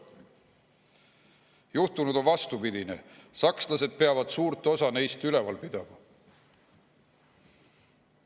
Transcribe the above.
Juhtunud on vastupidine, sakslased peavad suurt osa neist üleval pidama.